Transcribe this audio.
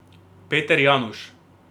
Peter Januš.